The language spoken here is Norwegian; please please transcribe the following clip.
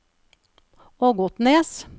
Ågotnes